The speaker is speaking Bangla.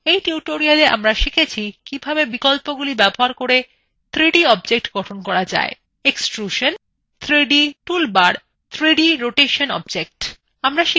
in tutorialwe আমরা শিখেছি কিভাবে নিম্নলিখিত বিকল্পগুলি ব্যবহার করে 3d objects গঠন করা যায়